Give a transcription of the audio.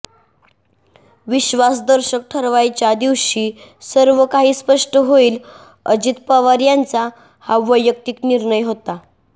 विश्वास दर्शक ठरावाच्या दिवशी सर्व काही स्पष्ट होईल अजित पवार यांचा हा वैयक्तिक निर्णय होता